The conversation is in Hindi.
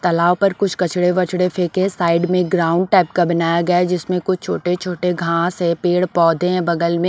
तालाव पर कुछ कचड़े-वचड़े फेंके साइड में ग्राउंड टाइप का बनाया गया है जिसमें कुछ छोटे-छोटे घास है पेड़ पौधे हैं बगल में --